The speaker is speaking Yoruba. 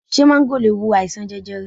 Ṣé máńgò le wo àìsàn jẹjẹrẹ?